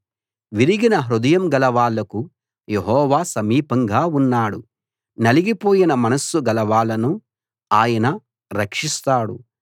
విరిగిన హృదయం గల వాళ్లకు యెహోవా సమీపంగా ఉన్నాడు నలిగిపోయిన మనస్సు గల వాళ్లను ఆయన రక్షిస్తాడు